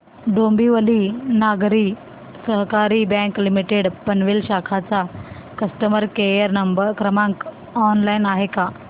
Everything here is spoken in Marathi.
डोंबिवली नागरी सहकारी बँक लिमिटेड पनवेल शाखा चा कस्टमर केअर क्रमांक ऑनलाइन आहे का